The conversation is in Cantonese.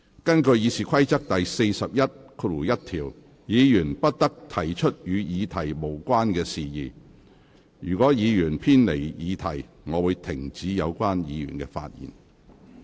根據《議事規則》第411條，議員不得提出與議題無關的事宜，如果議員偏離議題，我會指示有關議員停止發言。